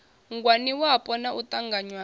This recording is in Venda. ngwaniwapo na u ṱanganywa ha